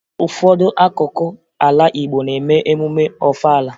Ụfọdụ akụkụ ala Igbo na-eme emume Ọfala